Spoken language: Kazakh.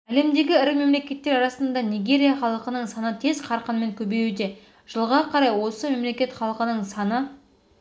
әлемдегі ірі мемлекеттер арасында нигерия халқының саны тез қарқынмен көбеюде жылға қарай осы мемлекет халқының саны